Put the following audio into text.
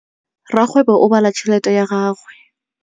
Rakgwêbô o bala tšheletê ya gagwe.